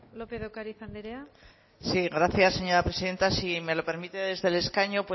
lópez de ocariz andrea sí gracias señora presidenta si me lo permite desde el escaño